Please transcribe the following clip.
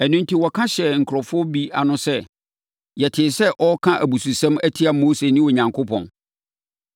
Ɛno enti wɔka hyɛɛ nkurɔfoɔ bi ano sɛ, “Yɛtee sɛ ɔreka abususɛm atia Mose ne Onyankopɔn.”